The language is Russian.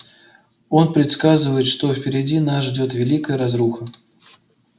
он предсказывает что впереди нас ждёт великая разруха